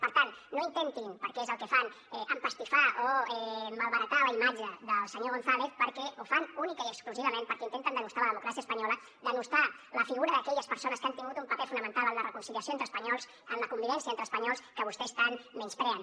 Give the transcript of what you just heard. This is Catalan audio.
per tant no intentin perquè és el que fan empastifar o malbaratar la imatge del senyor gonzález perquè ho fan únicament i exclusivament perquè intenten denostar la democràcia espanyola denostar la figura d’aquelles persones que han tingut un paper fonamental en la reconciliació entre espanyols en la convivència entre espanyols que vostès tant menyspreen